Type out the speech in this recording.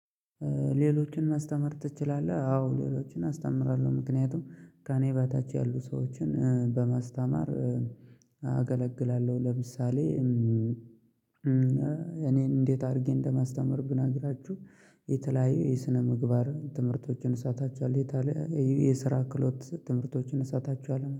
ሌሎችን ማስተማር ትችላለህ? አዎ ሌሎችን አስተምራለሁ ምክንያቱም ከእኔ በታች ያሉ ሰዎችን በማስተማር አገለግላለሁ። ለምሳሌ እኔን እንዴት አድርጌ እንደማስተምር ብነግራችሁ የተለያዩ የስነምግባር ትምህርቶችን እሰጣችኋለሁ የተለ የስራ ክህሎት ትምህርቶችን እሳጣችኋለሁ